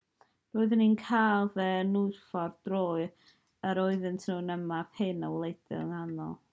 roeddwn i'n cael fy nghyffwrdd bob tro yr oedden ni'n ymarfer hyn o waelod fy nghalon